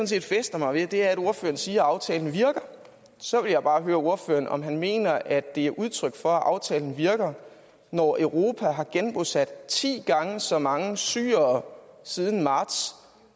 set fæster mig ved er at ordføreren siger at aftalen virker så vil jeg bare høre ordføreren om han mener at det er et udtryk for at aftalen virker når europa har genbosat ti gange så mange syrere siden marts